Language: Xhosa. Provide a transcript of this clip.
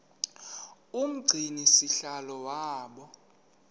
umgcini sihlalo waba